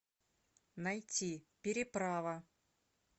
найти переправа